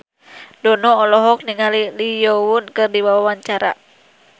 Dono olohok ningali Lee Yo Won keur diwawancara